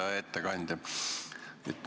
Hea ettekandja!